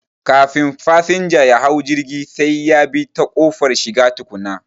Kafin fasanja yahau jirgi sai yabi ta ƙofar shiga tukuna